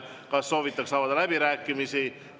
Kas soovitakse avada läbirääkimisi?